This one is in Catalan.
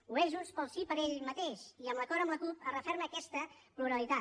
ho és junts pel sí per ell mateix i amb l’acord amb la cup es referma aquesta pluralitat